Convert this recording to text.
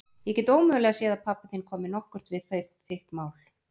Ég get ómögulega séð að pabbi þinn komi nokkuð við þitt mál.